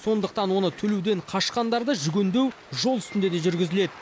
сондықтан оны төлеуден қашқандарды жүгендеу жол үстінде де жүргізіледі